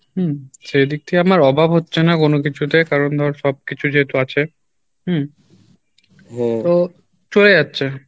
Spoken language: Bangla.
হম সেদিক থেকে আমার অভাব হচ্ছে না কোনো কিছুতে কারণ ধর সব কিছু যেহেতু আছে হম তো চলে যাচ্ছে